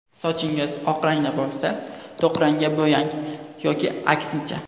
Sochingiz och rangda bo‘lsa, to‘q rangga bo‘yang yoki aksincha.